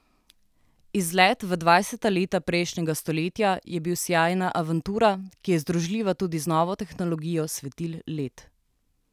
Izlet v dvajseta leta prejšnjega stoletja je bil sijajna avantura, ki je združljiva tudi z novo tehnologijo svetil led.